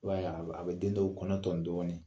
I b'a ye a bi den dɔw kɔnɔ tɔn dɔɔni.